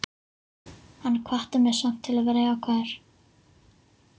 Hann hvatti mig samt til að vera jákvæður.